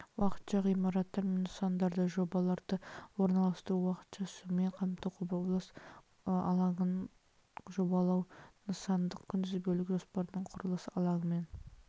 уақытша ғимараттар мен нысандарды жолдарды орналастыру уақытша сумен қамту құрылыс алаңын жобалау нысандық күнтізбелік жоспардың құрылыс алаңымен